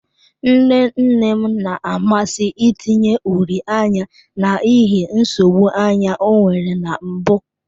Nne nne m na-amasị itinye uri anya n'ihi nsogbu anya ọ nwere na mbụ.